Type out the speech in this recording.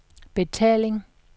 betaling